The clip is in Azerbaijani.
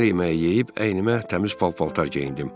Səhər yeməyi yeyib əynimə təmiz pal-paltar geyindim.